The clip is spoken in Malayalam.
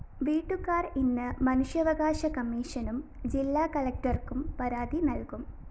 വീട്ടുകാര്‍ ഇന്ന് മനുഷ്യാവകാശ കമ്മീഷനും ജില്ലാകളക്ടര്‍ക്കും പരാതി നല്‍കും